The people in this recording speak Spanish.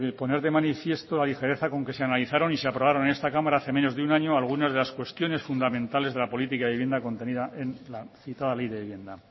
poner de manifiesto la ligereza con que se analizaron y se aprobaron en esta cámara hace menos de un año algunas de las cuestiones fundamentales de la política de vivienda contenida en la citada ley de vivienda